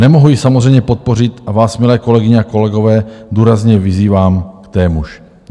Nemohu ji samozřejmě podpořit a vás, milé kolegyně a kolegové, důrazně vyzývám k témuž.